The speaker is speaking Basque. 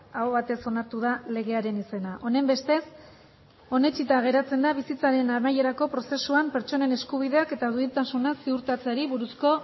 aho batez onartu da legearen izena honenbestez onetsita geratzen da bizitzaren amaierako prozesuan pertsonen eskubideak eta duintasuna ziurtatzeari buruzko